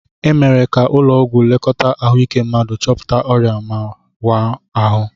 E mere ka ụlọ ọgwụ lekọta ahụike mmadu, chọpụta ọrịa ma waa ahụ.